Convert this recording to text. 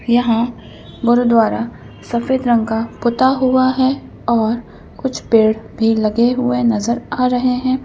यहाँ गुरुद्वारा सफेद रंग का पुता हुआ है और कुछ पेड़ भी लगे हुए नजर आ रहे हैं।